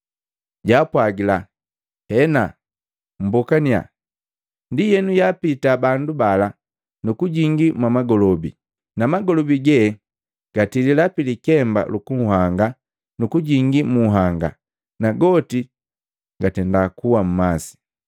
Jaapwagila, “Hena mmbokaniya.” Ndienu yaapiita bandu bala, nu kujingii mwamagolobi, na magolobi ge gatilila pilikemba luku nhanga nukujingi mu nhanga, na goti gakuwa mmasi.